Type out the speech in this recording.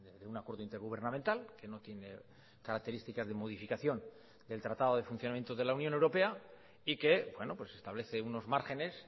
de un acuerdo intergubernamental que no tiene características de modificación del tratado de funcionamiento de la unión europea y que establece unos márgenes